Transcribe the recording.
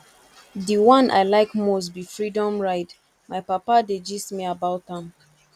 the one i like most be freedom ride my papa dey gist me about am